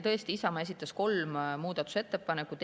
Tõesti, Isamaa esitas kolm muudatusettepanekut.